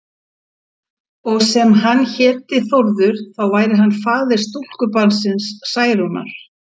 Og sem hann héti Þórður, þá væri hann faðir stúlkubarnsins Særúnar.